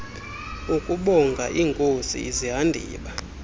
ukubonga iinkosi izihandiba